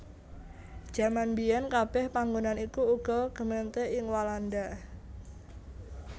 Jaman mbiyèn kabèh panggonan iku uga gemeente ing Walanda